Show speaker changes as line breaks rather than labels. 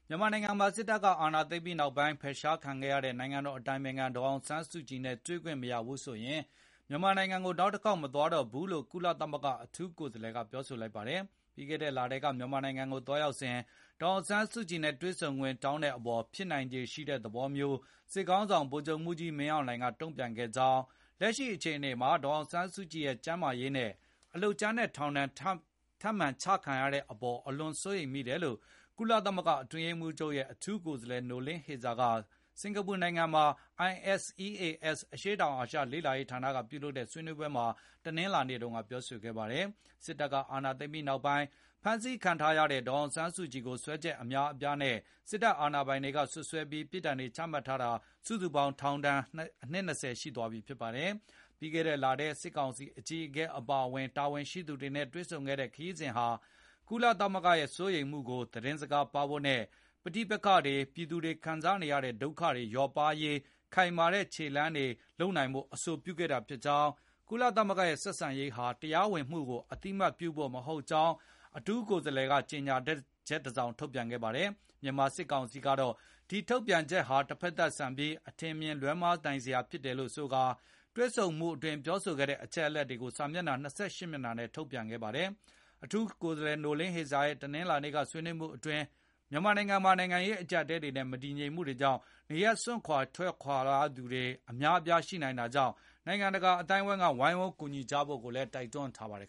မြန်မာနိုင်ငံမှာ စစ်အာဏာသိမ်းပြီးနောက်ပိုင်း ဖယ်ရှားခံခဲ့ရတဲ့ နိုင်ငံတော်အတိုင်ပင်ခံ ဒေါ်အောင်ဆန်းစုကြည်နဲ့တွေ့ခွင့်မရဘူးဆိုရင် မြန်မာနိုင်ငံကို နောက်တခေါက် မသွားတော့ဘူးလို့ ကုလသမဂ္ဂ အထူးကိုယ်စားလှယ်က ပြောလိုက်ပါတယ်။ ပြီးခဲ့တဲ့လထဲက မြန်မာနိုင်ငံကိုသွားရောက်စဉ် ဒေါ်အောင်ဆန်းစုကြည်နဲ့ တွေဆုံခွင့်တောင်းတဲ့အပေါ် ဖြစ်နိုင်ခြေရှိတဲ့ သဘောမျိုး စစ်ခေါင်းဆောင် ဗိုလ်ချုပ်မှုးကြီး မင်းအောင်လှိုင် က တုံ့ပြန်ခဲ့ကြောင်းနဲ့ လက်ရှိအခြေအနေမှာ ဒေါ်အောင်ဆန်းစုကြည်ရဲ့ ကျန်းမာရေးနဲ့ အလုပ်ကြမ်းနဲ့ ထောင်ဒဏ်ထပ်မံချမှတ်တဲ့အပေါ် အလွန်စိုးရိမ်မိတယ်လို့ ကုလသမဂ္ဂ အတွင်းရေးမှူးချုပ်ရဲ့ အထူးကိုယ်စားလှယ် Noeleen Heyzer က စင်္ကာပူနိုင်ငံမှာ ISEAS အရှေ့တောင်အာရှ လေ့လာရေးဌာနက ပြုလုပ်တဲ့ ဆွေးနွေးပွဲမှာ တနင်္လာနေ့က ပြောဆိုလိုက်တာပါ။ ပြီးခဲ့တဲ့နှစ် ဖေဖော်ဝါရီလက စစ်အာဏာသိမ်းပြီးနောက်ပိုင်းကတည်းက ဖမ်းဆီးခံထားရတဲ့ ဒေါ်အောင်ဆန်းစုကြည်ကိုတော့ စွပ်စွဲချက် အများအပြားနဲ့ စစ်အာဏာပိုင်တွေ အရေးယူထားပြီး အခုအချိန်အထိ ပြစ်ဒဏ်စီရင်ပြီးတဲ့ အမှုတွေအတွက် ထောင်ဒဏ်စုစုပေါင်း နှစ် ၂၀ ရှိသွားပြီဖြစ်ပါတယ်။ ပြီးခဲ့တဲ့လထဲ စစ်ကောင်စီအကြီးအကဲ အပါအဝင် ထိပ်တန်းတာဝန်ရှိသူတွေနဲ့ တွေ့ဆုံခဲ့တဲ့ ခရီးစဉ်ဟာ ကုလသမဂ္ဂရဲ့ စိုးရိမ်မှုတွေကို သတင်းစကားပါးဖို့နဲ့ ပဋိပက္ခတွေ၊ ပြည်သူတွေ ခံစားနေရတဲ့ ဒုက္ခတွေ လျော့ပါးရေး ခိုင်မာတဲ့ ခြေလှမ်းတွေလှမ်းနိုင်အောင် အဆိုပြုဖိုဖြစ်ပြီး၊ ကုလသမဂ္ဂရဲ့ ထိတွေ့ဆက်ဆံမှုဟာ တရားဝင်မှုကို အသိအမှတ်ပြုဖို့ မဟုတ်ကြောင်း အထူးကိုယ်စားလှယ်က ကြေညာချက် ထုတ်ပြန်ခဲ့တာပါ။ မြန်မာစစ်ကောင်စီကတော့ အထူးကိုယ်စားလှယ်ရဲ့ ထုတ်ပြန်ချက်ဟာ တဖက်သတ်ဆန်ပြီး နိုင်ငံတကာနဲ့ ပြည်သူတွေကြား အထင်အမြင် လွဲမှားစရာဖြစ်ခဲ့ရတယ်ဆိုပြီး တွေ့ဆုံမှုအတွင်း ပြောဆိုခဲ့တဲ့ အသေးစိတ်အချက်အလက်တွေကို စာမျက်နှာ ၂၈ မျက်နှာနဲ့ ထုတ်ပြန်ဖော်ပြခဲ့ပါတယ်။ အထူးကိုယ်စားလှယ် Heyzer ရဲ့ တနင်္လာနေ့က ဆွေးနွေးမှုတွေအတွင်း မြန်မာနိုင်ငံမှာ နိုင်ငံရေး အကျပ်အတည်းတွေနဲ့ မတည်မငြိမ် အခြေအနေတွေကြောင့် နေရပ်စွန့်ခွာသူတွေ များပြားလာနေတာကို နိုင်ငံတကာ အသိုင်းအဝိုင်းက ဝိုင်းဝန်းကူညီဖို့လည်း တိုက်တွန်းထားပါတယ်